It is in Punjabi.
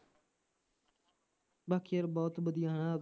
ਬਾਕੀ ਯਾਰ ਬਹੁਤ ਵਧੀਆ ਹੈ ਨਾ